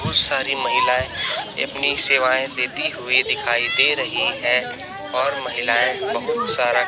सारी महिलाएं अपनी सेवाएं देती हुई दिखाई दे रही है और महिलाएं बहुत सारा--